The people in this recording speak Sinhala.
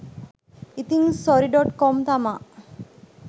ඉතින් සොරි ඩොට් කොම් තමා.